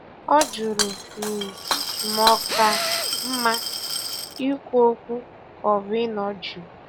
Ọ jụrụ um ma ọ ka mma ikwu okwu ka ọ bụ ịnọ jụụ